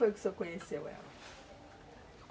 Como foi que o senhor conheceu ela?